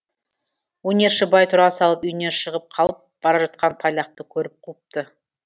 өнерші бай тұра салып үйінен шығып қалып бара жатқан тайлақты көріп қуыпты